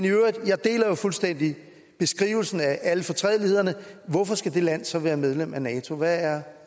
fuldstændig beskrivelsen af alle fortrædelighederne hvorfor skal det land så være medlem af nato hvad er